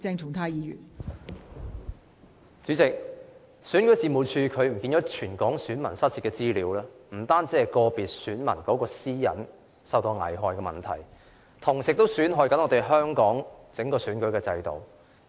代理主席，選舉事務處遺失全港選民的資料，不單是個別選民私隱受到危害的問題，同時亦損害香港整個選舉制度。